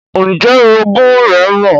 Ǹjẹ́ oroogún rẹ́ mọ̀?